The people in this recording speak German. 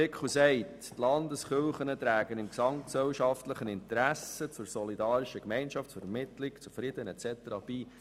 Der Artikel sagt, die Landeskirchen trügen im gesamtgesellschaftlichen Interesse zu einer solidarischen Gemeinschaft, zur Vermittlung, zu Frieden etc. bei.